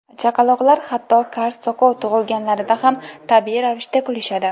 Chaqaloqlar hatto kar-soqov tug‘ilganlarida ham tabiiy ravishda kulishadi.